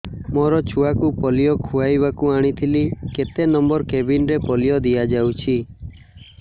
ମୋର ଛୁଆକୁ ପୋଲିଓ ଖୁଆଇବାକୁ ଆଣିଥିଲି କେତେ ନମ୍ବର କେବିନ ରେ ପୋଲିଓ ଦିଆଯାଉଛି